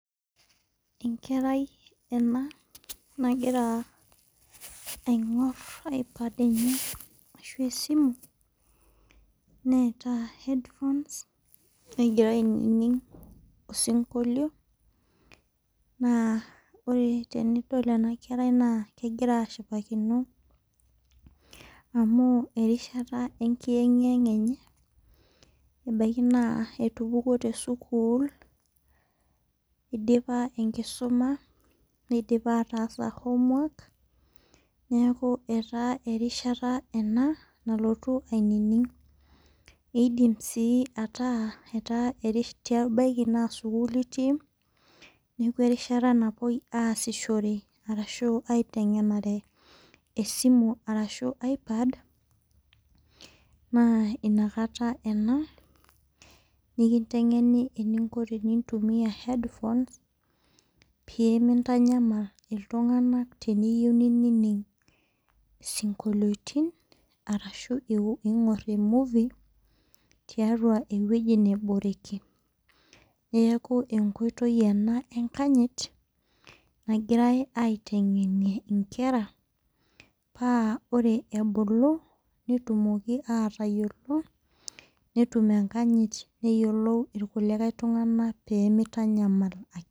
Enkerai ena nagira aingor ipad enye ashu esimu neeta headphones negira ainining' osinkolio naa ore tenidol ena kerai naa kegira ashipakino amu erishata enkiyeng' yeng'a enye ebaki naa etupukuo te sukul idipa enkisuma nidipa ataasa homework neeku etaa eishata ena nalotu ainining' . Idim sii ataa eta erishata idim naa sukul etii neeku erishata napoi aasishore ashu aiteng'enare esia esimu arashu ipad naa inakata enaa nkiteng' eni eninko pee intumua headphones pee mintanyal iltung'ana teniyou nining' osinkoliotin arashu ing'or ee movie tiatua eweji naboreki. Neeku enkoitoi ena enkanyet nagirai aiteng'enir inkera paa orr ebulu netumoki atayiolo netum enkanyat neyolou irkulie tunganak pee mintanyal